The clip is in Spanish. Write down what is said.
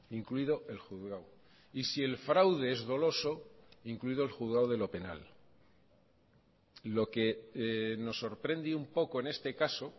incluido el juzgado y si el fraude es doloso incluido el juzgado de lo penal lo que nos sorprende un poco en este caso